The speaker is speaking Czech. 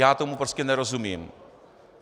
Já tomu prostě nerozumím.